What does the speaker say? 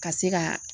Ka se ka